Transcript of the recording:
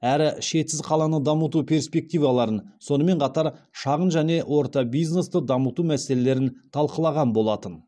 әрі шетсіз қаланы дамыту перспективаларын сонымен қатар шағын және орта бизнесті дамыту мәселелерін талқылаған болатын